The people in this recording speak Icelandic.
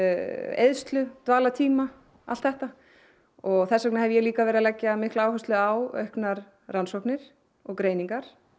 eyðslu dvalartíma allt þetta og þess vegna hef ég líka verið að leggja áherslu á auknar rannsóknir og greiningar